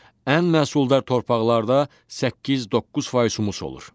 Ən məhsuldar torpaqlarda 8-9% humus olur.